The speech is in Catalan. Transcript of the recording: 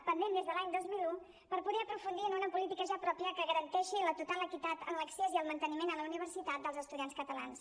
pendent des de l’any dos mil un per poder aprofundir en una política ja pròpia que garanteixi la total equitat en l’accés i el manteniment a la universitat dels estudiants catalans